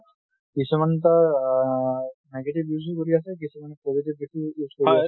কিছুমান তাৰ আ negative use ও কৰি আছে, কিছুমান positive use ও কৰি আছে।